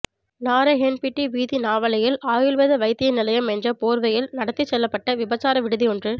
நாரஹென்பிட்டி வீதி நாவலையில் ஆயுள்வேத வைத்திய நிலையம் என்ற போர்வையில் நடாத்திச் செல்லப்பட்ட விபசார விடுதியொன்று